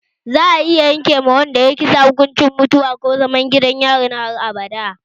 Za'a iya yanke ma wanda yayi kisan kai hukuncin mutuwa ko kuma zaman gidan yari na har abada